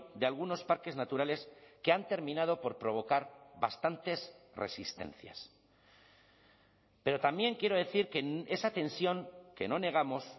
de algunos parques naturales que han terminado por provocar bastantes resistencias pero también quiero decir que esa tensión que no negamos